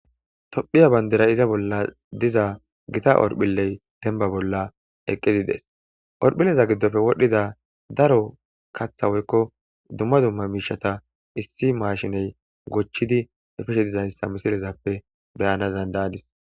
Tophiya bandirray izza bolla dizza eqidi bettes horphille gidoppe wodhizza katha woykko dumma dumma mishay dizzayssa ha misileppe beyanas dandaadis.